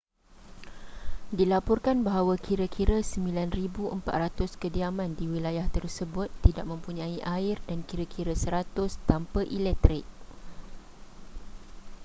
dilaporkan bahawa kira-kira 9400 kediaman di wilayah tersebut tidak mempunyai air dan kira-kira 100 tanpa elektrik